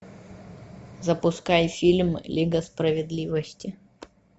запускай фильм лига справедливости